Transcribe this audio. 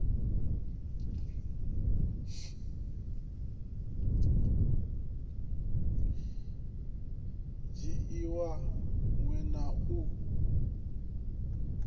dzhiiwa minwe na u sa